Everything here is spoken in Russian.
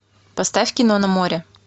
поставь кино на море